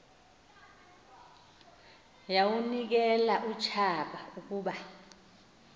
yawunikel utshaba ukuba